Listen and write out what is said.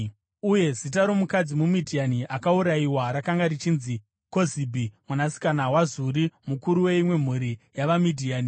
Uye zita romukadzi muMidhiani akaurayiwa rakanga richinzi Kozibhi, mwanasikana waZuri, mukuru weimwe mhuri yavaMidhiani.